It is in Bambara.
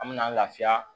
An mɛna an lafiya